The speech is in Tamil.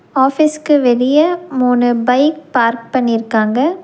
ஆஃபீஸ்க்கு வெளிய மூணு பைக் பார்க் பண்ணிருக்காங்க.